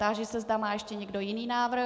Táži se, zda má ještě někdo jiný návrh.